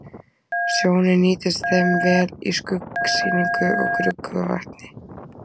Sjónin nýtist þeim vel í skuggsýnu og gruggugu vatni.